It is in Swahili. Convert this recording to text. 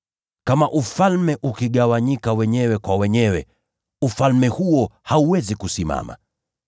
Kama ufalme ukigawanyika dhidi yake wenyewe, ufalme huo hauwezi kusimama.